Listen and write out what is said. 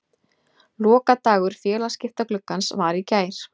Lokadagur félagaskiptagluggans var í gær.